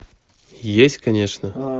есть конечно